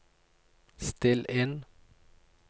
still inn